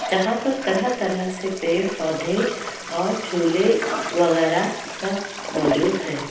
जहाँ पर तरह-तरह से पेड़-पोधे और झूले वैगरह सब मौजूद है।